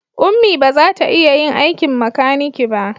Ummi ba za ta iya yin aikin makaniki ba